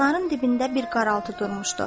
Çinarın dibində bir qaraltı durmuşdu.